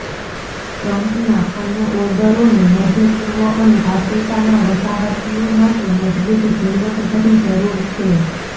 ટ્રમ્પના અન્ય ઓર્ડરોને મધ્ય પૂર્વ અને આફ્રિકાના વસાહતીઓ માટે મજબૂત ઝીણવટભરી જરૂર છે